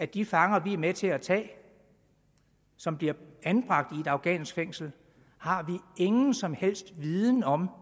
de fanger vi er med til at tage og som bliver anbragt i et afghansk fængsel har vi ingen som helst viden om